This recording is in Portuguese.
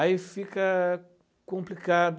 Aí fica complicado.